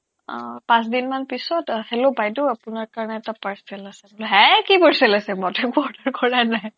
আহ পাঁচদিন মান পিছত আহ hello বাইদেউ আপোনাৰ কাৰণে এটা parcel আছে বোলে হে কি parcel আছে মোৰ নামত কৰাই নাই